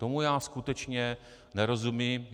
Tomu já skutečně nerozumím.